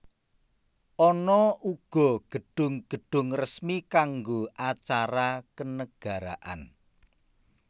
Ana uga gedhung gedhung resmi kanggo acara kenegaraan